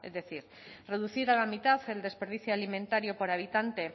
decir reducir a la mitad el desperdicio alimentario por habitante